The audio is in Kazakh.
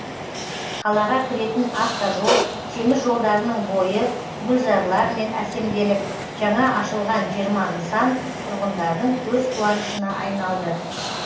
қалаға кіретін автожол темір жолдарының бойы гүлзарлармен әсемделіп жаңа ашылған жиырма нысан тұрғындарының көзқуанышына айналды